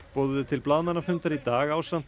boðuðu til blaðamannafundar í dag ásamt